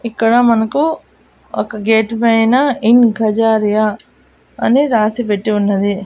ఇక్కడ మనకు ఒక గేట్ పైన ఇన్ ఖజారియా అని రాసిపెట్టి ఉన్నది.